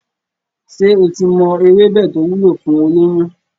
Ṣé o ti mọ ewébẹ̀ to wúlò fún olóyún?